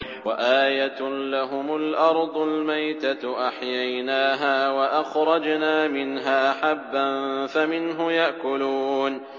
وَآيَةٌ لَّهُمُ الْأَرْضُ الْمَيْتَةُ أَحْيَيْنَاهَا وَأَخْرَجْنَا مِنْهَا حَبًّا فَمِنْهُ يَأْكُلُونَ